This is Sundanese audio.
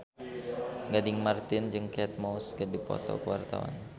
Gading Marten jeung Kate Moss keur dipoto ku wartawan